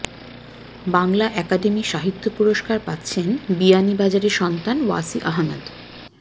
Bangla academy সাহিত্য পুরস্কার পাচ্ছেন বিয়ানীবাজারের সন্তান ওয়াসি আহমেদ